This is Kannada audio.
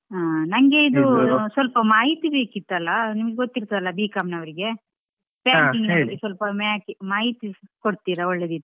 ಹಾ ನಂಗೆ ಇದು ಸ್ವಲ್ಪ ಮಾಹಿತಿ ಬೇಕಿತ್ತು ಅಲಾ ನಿಮಗೆ ಗೊತ್ತಿರ್ತದೆ ಅಲಾ B.com ನವ್ರಿಗೆ banking ನ ಬಗ್ಗೆ ಸ್ವಲ್ಪ ಮಾಹಿತಿ ಕೊಡ್ತೀರಾ ಒಳ್ಳೇದು ಇತ್ತು.